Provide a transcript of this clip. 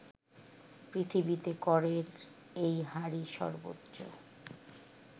পৃথিবীতে করের এই হারই সর্বোচ্চ